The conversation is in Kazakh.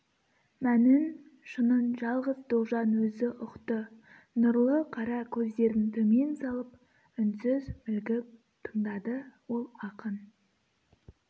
мәнін шынын жалғыз тоғжан өзі ұқты нұрлы қара көздерін төмен салып үнсіз мүлгіп тыңдады ол ақын